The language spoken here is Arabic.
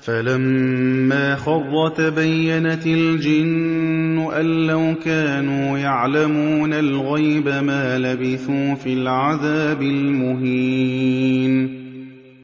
فَلَمَّا خَرَّ تَبَيَّنَتِ الْجِنُّ أَن لَّوْ كَانُوا يَعْلَمُونَ الْغَيْبَ مَا لَبِثُوا فِي الْعَذَابِ الْمُهِينِ